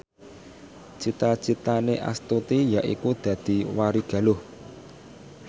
cita citane Astuti yaiku dadi warigaluh